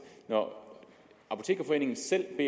når apotekerforeningen selv